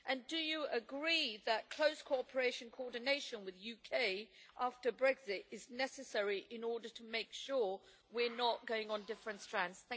Do you agree that close cooperation and coordination with the UK after Brexit are necessary in order to make sure we are not going on different strands?